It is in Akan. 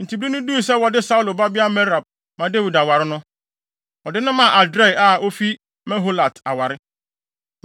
Enti bere no duu sɛ wɔde Saulo babea Merab ma Dawid aware no, wɔde no maa Adriel a ofi Meholat aware.